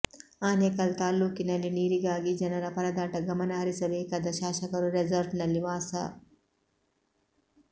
ಆನೇಕಲ್ ತಾಲ್ಲೂಕಿನಲ್ಲಿ ನೀರಿಗಾಗಿ ಜನರ ಪರದಾಟ ಗಮನ ಹರಿಸಬೇಕಾದ ಶಾಸಕರು ರೆಸಾರ್ಟ್ನಲ್ಲಿ ವಾಸ